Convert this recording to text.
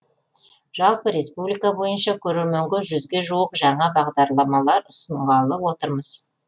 жалпы республика бойынша көрерменге жүзге жуық жаңа бағдарламалар ұсынғалы отырмыз